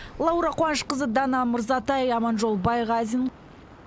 лаура қуанышқызы дана мырзатай аманжол байғазин